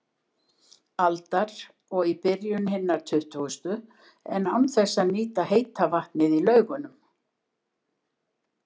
aldar og í byrjun hinnar tuttugustu, en án þess að nýta heita vatnið í Laugunum.